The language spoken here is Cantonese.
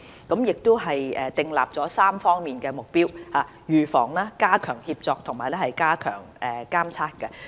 我們並且訂立了3方面的目標：預防、加強協作及加強監測。